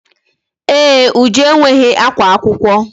Ee, Uju enweghị akwa akwụkwọ.